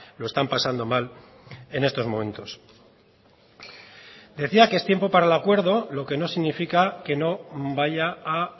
lo están pasando mal en estos momentos decía que es tiempo para el acuerdo lo que no significa que no vaya a